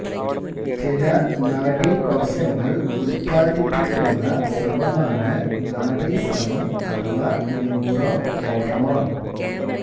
ചില നാഡീകോശങ്ങൾ ഉത്പാദിപ്പിക്കുന്ന സ്രവമാണ് നാഡീസ്രവം അഥവാ ന്യൂറോ ഹോർമോൺ